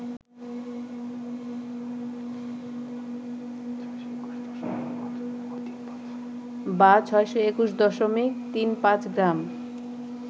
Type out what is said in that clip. বা ৬২১.৩৫ গ্রাম